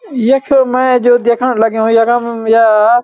यख मैं जो देखन लग्युं यखम या।